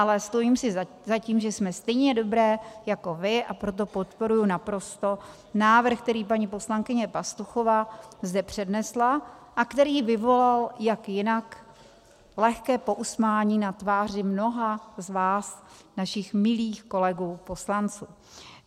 Ale stojím si za tím, že jsme stejně dobré jako vy, a proto podporuji naprosto návrh, který paní poslankyně Pastuchová zde přednesla, a který vyvolal, jak jinak, lehké pousmání na tváři mnoha z vás, našich milých kolegů poslanců.